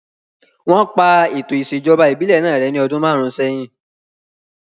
Wọ́n pa ètò ìṣèjọba ìbílẹ̀ náà rẹ́ ní ọdún márùn sẹ́yìn